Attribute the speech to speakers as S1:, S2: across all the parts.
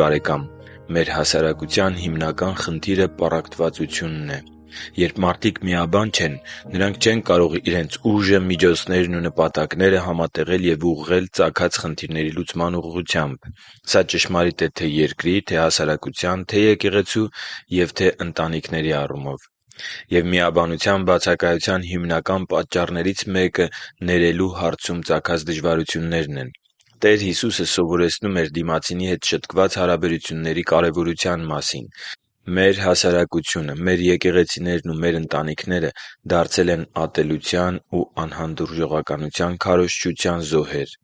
S1: բարեկամ, մեր հասարակության հիմնական խնդիրը պառակտվածությունն է։ Երբ մարդիկ միաբան չեն, նրանք չեն կարող իրենց ուժը, միջոցներն ու նպատակները համատեղել և ուղղել ծագած խնդիրների լուծման ուղղությամբ։ Սա ճշմարիտ է թե՛ երկրի, թե հասարակության, թե՛ եկեղեցու և թե՛ ընտանիքների առումով։ Եվ միաբանության բացակայության հիմնական պատճառներից մեկը ներելու հարցում ծագած դժվարություններն են։ Տեր Հիսուսը սովորեցնում էր դիմացինի հետ շտկված հարաբերությունների կարևորության մասին։ Մեր հասարակությունը, մեր եկեղեցիներն ու մեր ընտանիքները դարձել են ատելության ու անհանդուրժողականության քարոզչության զոհեր։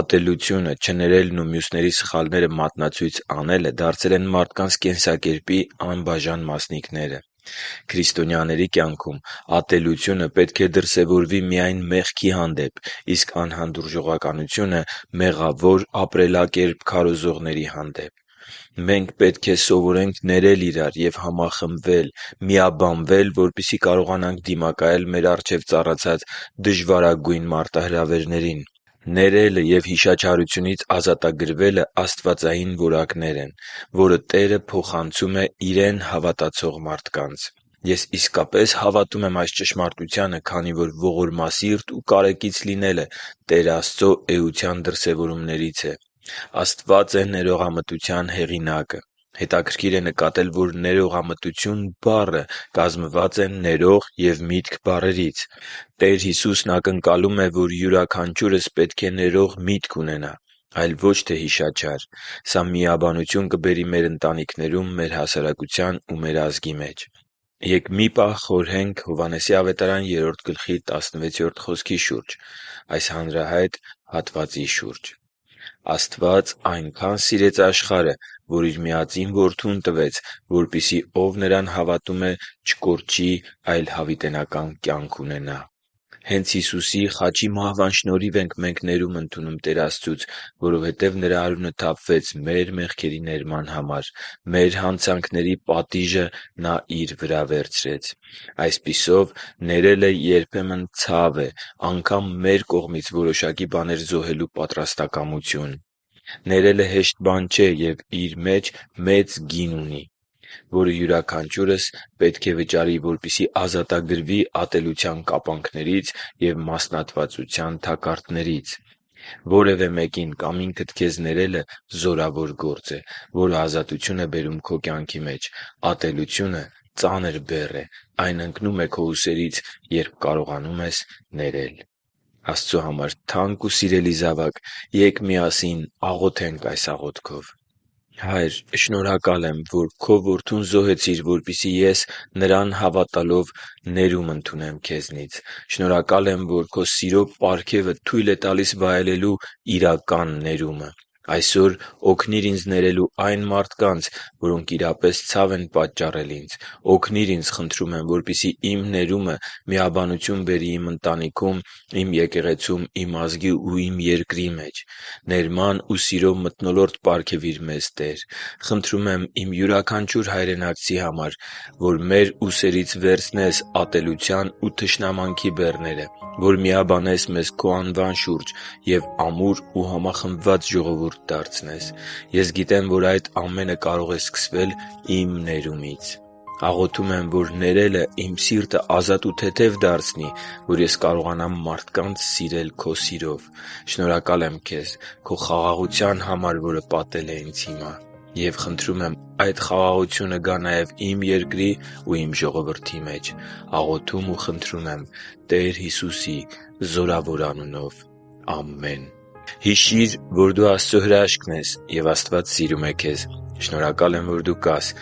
S1: Ատելությունը, չներելն ու մյուսների սխալները մատնացույց անելը դարձել են մարդկանց կենսակերպի անբաժան մասնիկները։ Քրիստոնյաների կյանքում ատելությունը պետք է դրսևորվի միայն մեղքի հանդեպ, իսկ անհանդուրժողականությունը՝ մեղավոր ապրելակերպ քարոզողների հանդեպ։ Մենք պետք է սովորենք ներել իրար և համախմբվել՝ միաբանվել, որպեսզի կարողանանք դիմակայել մեր առջև ծառացած դժվարագույն մարտահրավերներին։ Ներելը և հիշաչարությունից ազատագրվելը աստվածային որակ է, որը Տերը փոխացնում է Իրեն հավատացող մարդկանց։ Ես իսկապես հավատում եմ այս ճշմարտությանը, քանի որ ողորմասիրտ ու կարեկից լինելը Տեր Աստծո էության դրսևորումներից են։ Աստված է ներողամտության հեղինակը։ Հետաքրքիր է նկատել, որ «ներողամտություն» բառը կազմված է «ներող» և «միտք» բառերից: Տեր Հիսուսն ակնկալում է, որ յուրաքանչյուրս պետք է ներող միտք ունենա, այլ ոչ թե հիշաչար։ Սա միաբանություն կբերի մեր ընտանիքներում, մեր հասարակության ու մեր ազգի մեջ։ Ե՛կ միասին մի պահ խորհենք Հովհաննես 3․16 խոսքի՝ հանրահայտ հատվածի շուջ. «Աստված այնքան սիրեց աշխարհը, որ Իր միածին Որդուն տվեց, որպեսզի ով Նրան հավատում է, չկորչի, այլ հավիտենական կյանք ունենա» (Հովհաննես 3․16)։ Հե՛նց Հիսուսի խաչի մահվան շնորհիվ ենք մենք ներում ընդունում Տեր Աստծուց։ Որովհետև Նրա արյունը թափվեց մեզ համար մեր մեղքերի ներման համար։ Մեր հանցանքների պատիժը Նա Իր վրա վերցրեց։ Այսպիսով, ներելը երբեմն ցավ է՝ անգամ մեր կողմից որոշակի բաներ զոհելու պատրաստակամություն: Ներելը հեշտ բան չէ և իր մեծ գինն ունի, որը յուրաքանչյուրս պետք է վճարի, որպեսզի ազատագրվի ատելության կապանքներից և մասնատվածության թակարդներից: Որևէ մեկին կամ ինքդ քեզ ներելը զորավոր գործ է, որը ազատություն է բերում քո կյանքի մեջ: Ատելությունը ծանր բեռ է։ Այն ընկնում է քո ուսերից, երբ կարողանում ես ներել։ Աստծո համար թանկ ու սիրելի՛ զավակ, ե՛կ միասին աղոթենք այս աղոթքով. «Հա՛յր, շնորհակալ եմ, որ Քո Որդուն զոհեցիր, որպեսզի ես, Նրան հավատալով, ներում ընդունեմ Քեզնից։ Շնորհակալ եմ, որ Քո սիրո պարգևը թույլ է տալիս վայելելու իրական ներումը: Այսօր օգնիր ինձ ներելու այն մարդկանց, որոնք իրապես ցավ են պատճառել ինձ։ Օգնի՛ր ինձ, խնդրում եմ, որպեսզի իմ ներումը միաբանություն բերի իմ ընտանիքում, իմ եկեղեցում, իմ ազգի ու իմ երկրի մեջ։ Ներման ու սիրո մթնոլորտ պարգևի՛ր մեզ, Տե՛ր։ Խնդրում եմ իմ յուրաքանչյուր հայրենակցի համար, որ մեր ուսերից վերցնես ատելության ու թշնամանքի բեռները, որ միաբանես մեզ Քո անվան շուրջ և ամուր ու համախմբված ժողովուրդ դարձնես։ Ես գիտեմ, որ այդ ամենը կարող է սկսվել իմ ներումից։ Աղոթում եմ, որ ներելը իմ սիրտը ազատ ու թեթև դարձնի, որ ես կարողանամ մարդկանց սիրել Քո սիրով։ Շնորհակալ եմ քեզ Քո խաղաղության համար, որը պատել է ինձ հիմա: Եվ խնդրում եմ այդ խաղաղությունը գա նաև իմ երկրի ու իմ ժողովրդի մեջ։ Աղոթում և խնդրում եմ Տեր Հիսուսի զորավոր անունով։ Ամե՛ն»: Հիշի՛ր, որ դու Աստծո հրաշքն ես, և Աստված սիրում է քեզ։ Շնորհակալ եմ, որ դու կա՛ս